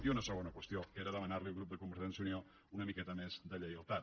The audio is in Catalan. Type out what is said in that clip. i una segona qüestió que era demanar li al grup de convergència i unió una miqueta més de lleialtat